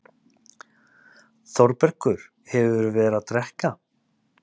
ÞÓRBERGUR: Hefurðu verið að drekka?